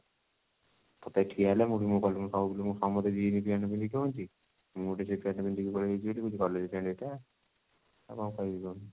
totally ଠିଆ ହେଲେ ମୁଁ ବି ମୁଁ କହିଲି ସମସ୍ତେ jean pant ପିନ୍ଧିକି ଆଉଛନ୍ତି ମୁଁ ଗୋଟେ ଚିପା pant ଟେ ପିନ୍ଧିକି ପଳେଇ ଆଇଛି ବୋଲି କହୁଛି college pant ଏଇଟା ଆଉ କଣ କହିବି କହୁନୁ